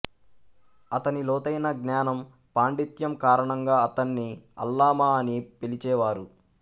అతని లోతైన జ్ఞానం పాండిత్యం కారణంగా అతన్ని అల్లామా అని పిలిచేవారు